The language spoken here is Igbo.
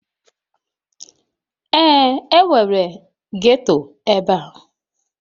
Ee, enwere ghetto ebe a